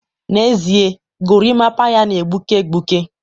n'ezie, gorimapa ya na-egbuke egbuke